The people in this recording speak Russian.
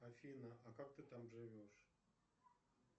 афина а как ты там живешь